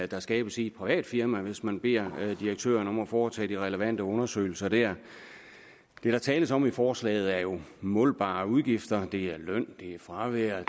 der skabes i et privat firma hvis man beder direktøren om at foretage de relevante undersøgelser dér det der tales om i forslaget er jo målbare udgifter det er løn det er fravær